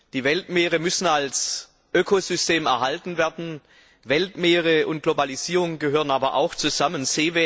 Die Weltmeere müssen als Ökosystem erhalten werden. Weltmeere und Globalisierung gehören aber auch zusammen.